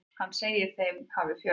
Hann segir þeim hafa fjölgað.